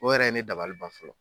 O yɛrɛ ye ne dabali ban fɔlɔ